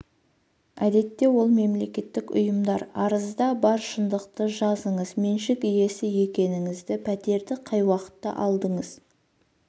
әдетте ол мемлекеттік ұйымдар арызда бар шындықты жазыңыз меншік иесі екеніңізді пәтерді қай уақытта алдыңыз